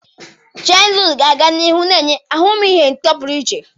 Cherie noodles ga-aga n'ihu na-enye ahụmịhe ụtọ pụrụ iche.